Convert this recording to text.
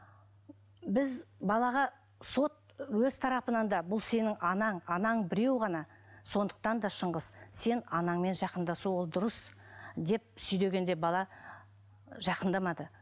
біз балаға сот өз тарапынан да бұл сенің анаң анаң біреу ғана сондықтан да шыңғыс сен анаңмен жақындасу ол дұрыс деп бала жақындамады